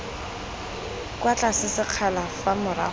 kwa tlase sekgala fa morago